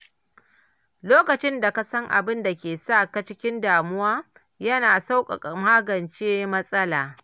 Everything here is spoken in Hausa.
Lokacin da ka san abin da ke sa ka cikin damuwa, yana sauƙaƙa magance matsalar.